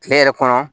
Kile yɛrɛ kɔnɔ